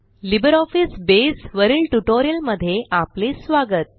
LibreOffice Base वरील ट्युटोरियलमध्ये आपले स्वागत